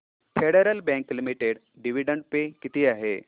federal Bank Limited dividend pay किती आहे